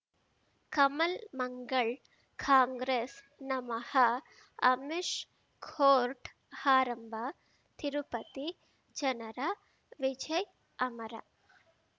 ಕಮಲ್ ಮಂಗಳ್ ಕಾಂಗ್ರೆಸ್ ನಮಃ ಅಮಿಷ್ ಕೋರ್ಟ್ ಆರಂಭ ತಿರುಪತಿ ಜನರ ವಿಜಯ್ ಅಮರ್